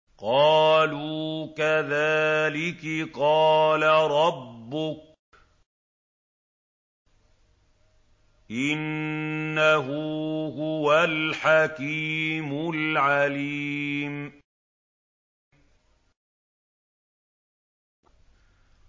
قَالُوا كَذَٰلِكِ قَالَ رَبُّكِ ۖ إِنَّهُ هُوَ الْحَكِيمُ الْعَلِيمُ